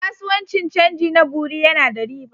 Kasuwancin canji na bureau yana da riba.